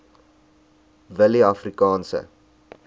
willieafrikaanse